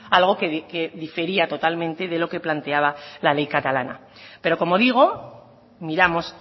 algo que difería totalmente de lo que planteaba la ley catalana pero como digo miramos